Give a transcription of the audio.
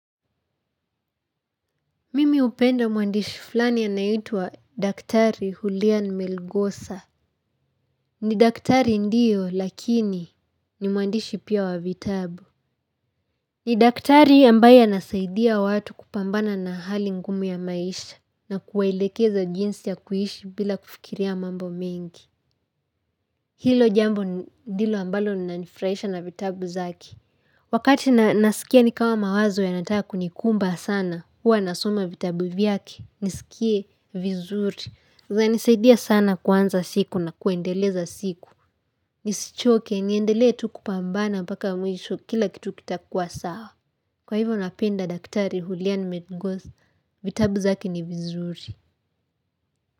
Mimi hupenda mwandishi flani anayeitwa daktari Hulian Melgosa. Ni daktari ndiyo, lakini ni mwandishi pia wa vitabu. Ni daktari ambaye anasaidia watu kupambana na hali ngumu ya maisha na kuwaelekeza jinsi ya kuishi bila kufikiria mambo mengi. Hilo jambo ndilo ambalo linanifurahisha na vitabu zake. Wakati nasikia nikama mawazo yanataka kunikumba sana, huwa nasoma vitabu vyake, nisikie vizuri. Zinsaniaidia sana kuanza siku na kuendeleza siku. Nisichoke, niendelee tu kupambana mpaka mwisho kila kitu kitakuwa sawa. Kwa hivyo napenda daktari Hulian Medgoth, vitabu zake ni vizuri.